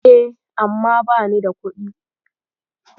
E, amma bani da kuɗi.